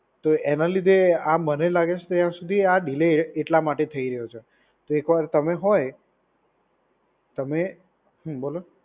તો એના લીધે આ મને લાગે છે ત્યાં સુધી આ ડીલે એટલા માટે થઈ રહ્યો છે. તો વાર તમે હોય, તમે, હમ્મ બોલો.